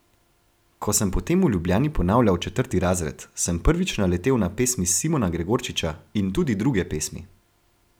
Ko sem potem v Ljubljani ponavljal četrti razred, sem prvič naletel na pesmi Simona Gregorčiča in tudi druge pesmi.